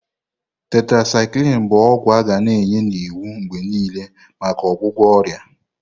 Tetrasyklini bu ogwu aga na enye n'iwu mgbe niile maka ọgwụgwọ ọrịa.